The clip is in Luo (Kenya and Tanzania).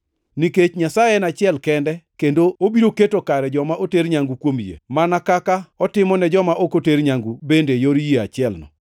nikech Nyasaye en achiel kende kendo obiro keto kare joma oter nyangu kuom yie, mana kaka otimo ne joma ok oter nyangu bende e yor yie achielno.